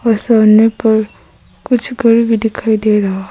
और सामने पर कुछ घर भी दिखाई दे रहा है।